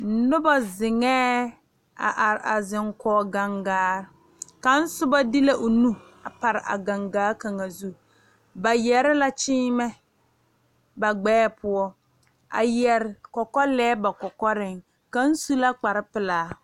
Noba zeŋe a are a zeŋ kɔŋ gangaare ka soba de la o nu a pare a gangaa kaŋa zu ba yeere la kyimɛ ba gbɛɛ poɔ a yeere kɔkɔlɛɛ ba kɔkɔre kaŋ su la kpare pelaa.